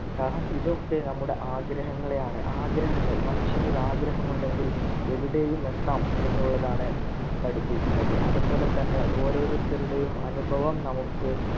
കാരണം ഇതൊക്കെ നമ്മുടെ ആഗ്രഹങ്ങളെയാണ് ആഗ്രഹങ്ങൾ മനുഷ്യനു ഒരു ആഗ്രഹം ഉണ്ടെങ്കിൽ ഇവിടെയും എത്താം എന്നുള്ളതാണ് പഠിപ്പിക്കുന്നത് അതുപോലെതന്നെ ഓരോരുത്തരുടെയും അനുഭവം നമുക്ക്